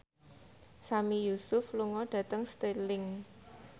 Sami Yusuf lunga dhateng Stirling